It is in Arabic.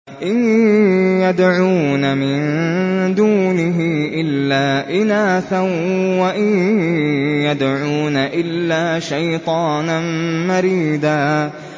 إِن يَدْعُونَ مِن دُونِهِ إِلَّا إِنَاثًا وَإِن يَدْعُونَ إِلَّا شَيْطَانًا مَّرِيدًا